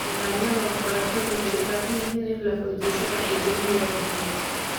Nidaamyada waxbarashadu waxay u baahan yihiin in la xoojiyo si wacyigelin loo bixiyo.